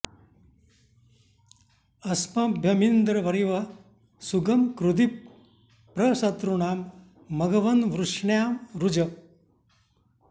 अ॒स्मभ्य॑मिन्द्र॒ वरि॑वः सु॒गं कृ॑धि॒ प्र शत्रू॑णां मघव॒न्वृष्ण्या॑ रुज